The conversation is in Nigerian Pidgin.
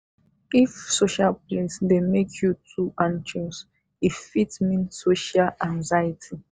if social place dey make you too anxious e fit mean social anxiety.